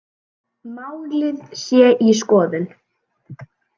Málið sé í skoðun